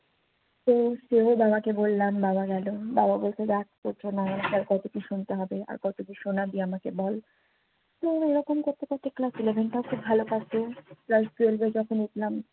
তো সোজা বাবাকে বললাম বাবা গেলো বাবা বললো রাখ তোর জন্য আমাকে আর কত কি শুনতে হবে আর কত কি শোনাবি আমাকে বল মানি এইরকম করতে করতে ক্লাস eleven টা ও খুব ভালো কাটলো ক্লাস twelve যখন উঠলাম